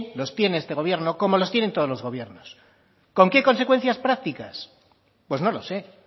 los tiene este gobierno como los tienen todos los gobiernos con qué consecuencias prácticas pues no lo sé